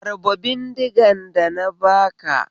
Harba bindigan da na baka